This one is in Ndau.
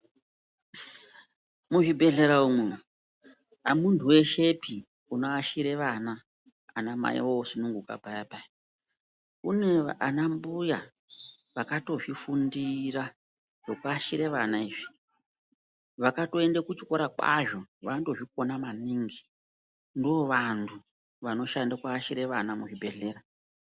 Muzvibhedhlera umwu hamuntu veshepi uno ashira vana vanamai vosununguka paya-paya. Kune vana mbuya vakatozvifundira zvekuashire vana izvi, vakatoende kuchikora kwazvo vanotozvikona maningi ndovantu vanoshande kuashire vana muzvibhedhlera.